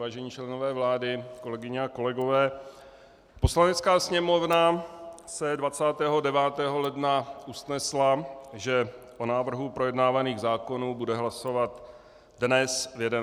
Vážení členové vlády, kolegyně a kolegové, Poslanecká sněmovna se 29. ledna usnesla, že o návrhu projednávaných zákonů bude hlasovat dnes v 11 hodin.